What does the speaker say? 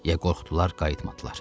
Ya qorxdular, qayıtmadılar.